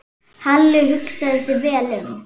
Halli hugsaði sig vel um.